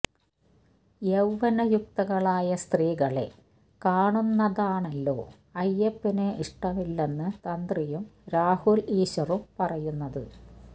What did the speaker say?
യൌവ്വനയുക്തകളായ സ്ത്രീകളെ കാണുന്നതാണല്ലോ അയ്യപ്പന് ഇഷ്ടമില്ലെന്നു തന്ത്രിയും രാഹുല് ഈശ്വറും പറയുന്നത്